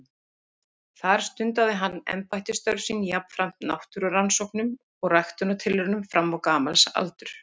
þar stundaði hann embættisstörf sín jafnframt náttúrurannsóknum og ræktunartilraunum fram á gamals aldur